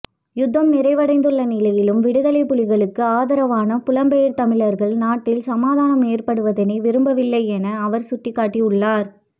யுத்தம் நிறைவடைந்துள்ள நிலையிலும் விடுதலைப் புலிகளுக்கு ஆதரவான புலம்பெயர் தமிழர்கள் நாட்டில் சமாதானம் ஏற்படுவதனை விரும்பவில்லை என அவர் சுட்டிக்காட்டியுள்ளார்